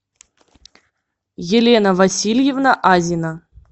елена васильевна азина